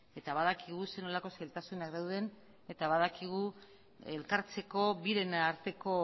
eta badakigu zer nolako zailtasunak dauden eta badakigu elkartzeko biren arteko